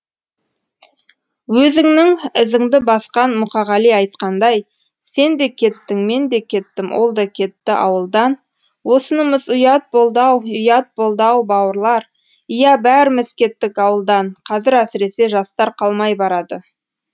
өзіңнің ізіңді басқан мұқағали айтқандай сен де кеттің мен де кеттім ол да кетті ауылдан осынымыз ұят болды ау ұят болды ау бауырлар иә бәріміз кеттік ауылдан қазір әсіресе жастар қалмай барады